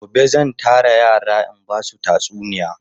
Gobe zan tara yara in ba su tatsuniya.